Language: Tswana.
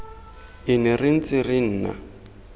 ene re ntse re nna